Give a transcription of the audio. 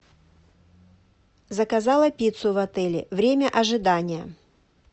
заказала пиццу в отеле время ожидания